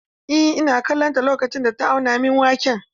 Eh, ina kallon ta lokacin da ta auna min waken.